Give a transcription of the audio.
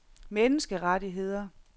menneskerettigheder